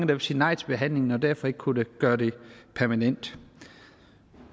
ville sige nej til behandlingen og derfor kunne man ikke gøre det permanent